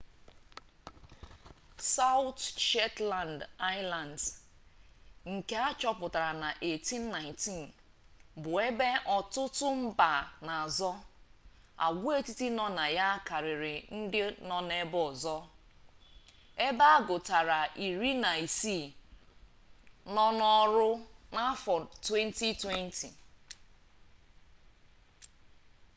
sawụt shetland aịlands nke a chọpụtara na 1819 bụ ebe ọtụtụ mba na-azọ agwaetiti nọ na ya karịrị ndị nọ ebe ọzọ ebe agụtara iri na isii nọ n'ọrụ n'afọ 2020